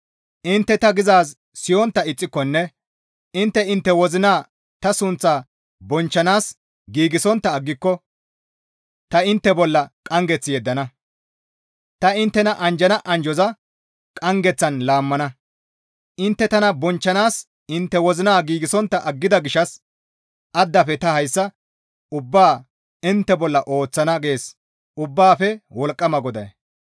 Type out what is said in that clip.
Intte ta gizaaz siyontta ixxikonne intte intte wozina ta sunththaa bonchchanaas giigsontta aggiko ta intte bolla qanggeth yeddana; ta inttena anjjana anjjoza qanggeththan laammana; intte tana bonchchanaas intte wozina giigsontta aggida gishshas addafe ta hayssa ubbaa intte bolla ooththana» gees Ubbaafe Wolqqama GODAY.